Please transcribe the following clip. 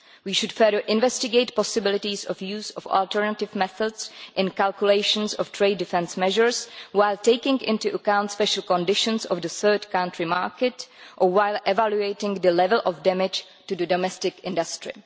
We should further investigate possibilities of using alternative methods in calculations of trade defence measures while taking into account special conditions of the third country market or while evaluating the level of damage to domestic industry.